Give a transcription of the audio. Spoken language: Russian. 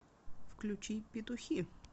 включи петухи